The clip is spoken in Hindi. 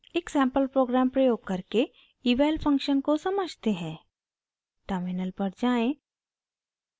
एक सैंपल प्रोग्राम प्रयोग करके eval फंक्शन को समझते हैं टर्मिनल पर जाएँ